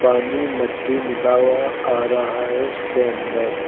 पानी मट्टी मिला हुआ आ रहा है। इसके अंदर--